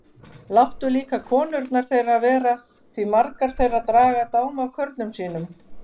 Láttu líka konurnar þeirra vera því margar þeirra draga dám af körlum sínum.